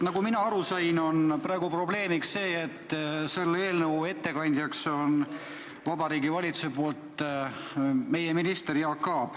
Nagu mina aru sain, on praegu probleemiks see, et selle eelnõu ettekandja on Vabariigi Valitsuse poolt minister Jaak Aab.